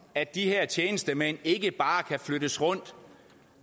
at de her tjenestemænd ikke bare kan flyttes rundt